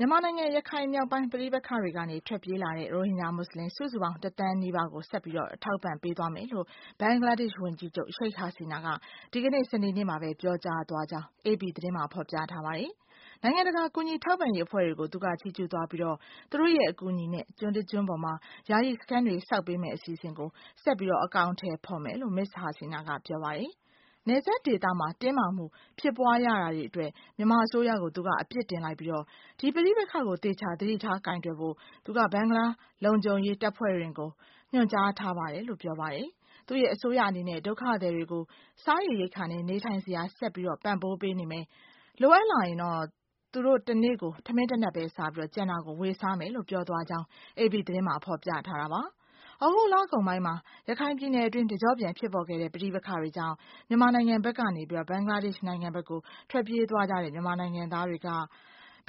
မြန်မာနိုင်ငံ ရခိုင်မြောက်ပိုင်း ပဋိပက္ခတွေကနေ ထွက်ပြေးလာတဲ့ ရိုဟင်ဂျာ မွတ်ဆလင် စုစုပေါင်း တသန်းနီးပါးကို ဆက်လက်ထောက်ပံ့ပေးသွားမယ်လို့ Bangladesh ဝန်ကြီးချုပ် Sheikh Hasina ဒီကနေ့ စနေနေ့မှာပဲ ပြောကြားသွားတယ်လို့ AP သတင်းမှာ ဖော်ပြပါတယ်။ နိုင်ငံတကာ ကူညီထောက်ပံ့ရေးအဖွဲ့တွေကို သူက ချီးကျူးသွားပြီး သူတို့ရဲ့ အကူအညီနဲ့ ကျွန်းကကျွန်းပေါ်မှာ ယာယီစခန်းတွေ ဆောက်ပေးမယ့် အစီအစဉ်ကို ဆက်ပြီးအကောင်အထည်ဖော်မယ်လို့ Ms. Hasina က ပြောပါတယ်။ နယ်စပ်ဒေသမှာ တင်းမာမှုတွေဖြစ်ပွားရတာအတွက် မြန်မာအစိုးရကို သူက အပြစ်တင်လိုက်ပြီး ဒီပဋိပက္ခကို သေချာသတိထားကိုင်တွယ်ဖို့ သူက ဘင်္ဂလားလုံခြုံရေးတပ်ဖွဲ့တွေကို ညွှန်ကြားထားပါတ.ယ်။ သူ့ရဲ့ အစိုးရအနေနဲ့ ဒုက္ခသည်တွေကို စားရေရိက္ခာနဲ့ နေထိုင်စရာ ဆက်ပြီးပံ့ပိုးပေးနေမယ်၊ လိုအပ်လာရင် သူတို့တနေ့ကို ထမင်းတနပ်ပဲစားပြီး ကျန်တာကို ဝေစားမယ်လို့ ပြောသွားကြောင်း AP သတင်းတပုဒ်မှာ ဖော်ပြထားပါတယ်။ သြဂုတ်လကုန်ပိုင်းမှာ ရခိုင်ပြည်နယ်အတွင်း တကျော့ပြန် ဖြစ်ပေါ်ခဲ့တဲ့ ပဋိပက္ခတွေကြောင့် မြန်မာနိုင်ငံဘက်ကနေ ဘင်္ဂလားဒေ့ရှ် နိုင်ငံဘက်ကို ထွက်ပြေးသွားကြတဲ့ မြန်မာနိုင်ငံသားတွေက